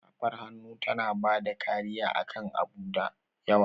Safar hannu tana bada kariya akan abu da yawa.